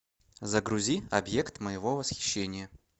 загрузи объект моего восхищения